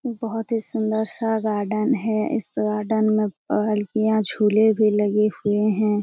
बहुत ही सुन्दर सा गार्डन है। इस गार्डन में पहलकियाँ झूले भी लगे हुए हैं।